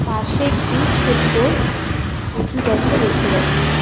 পাশে একটি ছোট্ট কচু গাছও দেখতে পাচ্ছি.